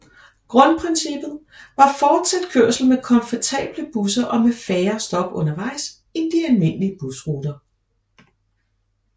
Grundprincippet var fortsat kørsel med komfortable busser og med færre stop undervejs end de almindelige busruter